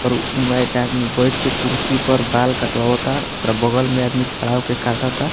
और उहे एक आदमी बैठ के कुर्सी पर बाल कटवाता ओकरा बगल में आदमी खड़ा होके काटअ ता।